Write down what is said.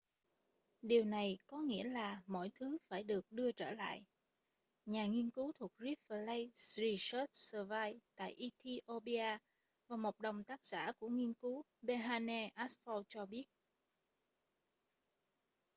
điều này có nghĩa là mọi thứ phải được đưa trở lại nhà nghiên cứu thuộc rift valley research service tại ethiopia và một đồng tác giả của nghiên cứu berhane asfaw cho biết